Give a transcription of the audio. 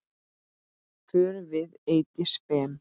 Fórum við Eydís Ben.